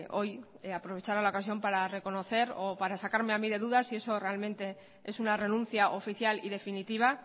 hoy aprovechar la ocasión para reconocer o para sacarme a mí de dudas y eso realmente es una renuncia oficial y definitiva